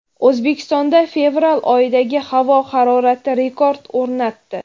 O‘zbekistonda fevral oyidagi havo harorati rekord o‘rnatdi.